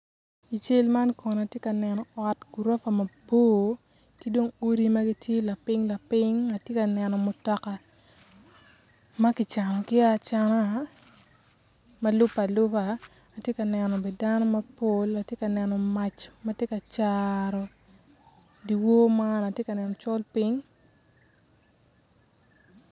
I cal ma kono atye ka neno ot ma wiye bor ki dong odi ma gitye lapiny lapiny ki mutoka ma kicanogi acan ma lubbe aluba atye kaneno dano mapol atye bene ka col piny.